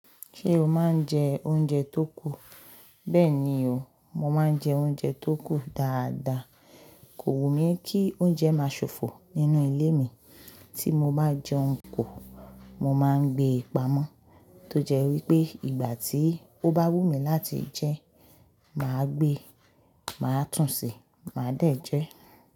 Ṣé o máa ń jẹ oúnjẹ tó kù? Bẹ́ẹ̀ni o, mo máa ń jẹ oúnjẹ tó kù dáadáa. Kò wù mí kí oúnjẹ máa ṣòfò nínú ilé mi. Tí mo bá jẹun ku, mo máa ń gbe pamọ́, tó jẹ́ wípé ìgbà tí ó bá wù mí láti jẹ, màá gbé, màá tún ṣe, màá dẹ̀ jẹ́